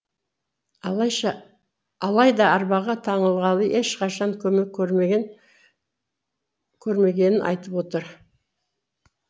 алайда арбаға таңылғалы ешқашан көмек көрмегенін айтып отыр